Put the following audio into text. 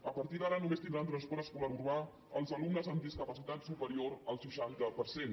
a partir d’ara només tindran transport escolar urbà els alumnes amb discapacitat superior al seixanta per cent